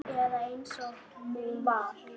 Eða eins og hún var.